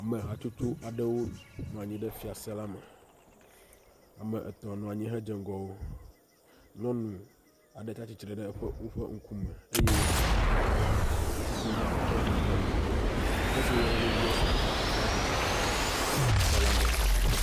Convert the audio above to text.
Ame hatsotso aɖewo nɔ anyi ɖe fiase la me. Ame etɔ̃ nɔ anyi hedzɔ ŋgɔ wo. Nyɔnu aɖe tsia tsitre ɖe eƒe woƒe ŋkume eye kpovitɔ aɖe hã tsitre ɖe eƒe megbe. Dukɔ si woyɔna be U.S.A ƒe aflagi le xɔ la me.